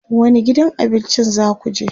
wani gidan abincin zakuje?